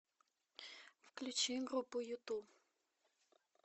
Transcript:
включи группу юту